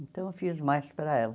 Então eu fiz mais para ela.